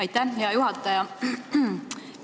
Aitäh, hea juhataja!